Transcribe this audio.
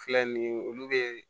Filɛ nin ye olu be